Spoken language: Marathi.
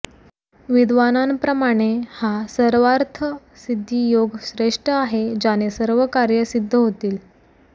विद्वानांप्रमाणे हा सर्वार्थ सिद्धी योग श्रेष्ठ आहे ज्याने सर्व कार्य सिद्ध होतील